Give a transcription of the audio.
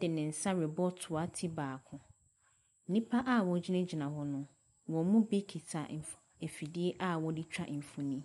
de ne nsa ɛrebɔ toa ti baako. Nnipa wɔgyinagyina hɔ no, wɔn mu kita mfo mfidie a wɔe twa mfonin.